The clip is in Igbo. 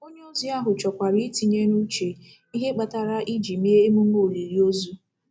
Onye ozi ahụ chọkwara I tinye n'uche, ihe kpatara e ji eme emume olili ozu.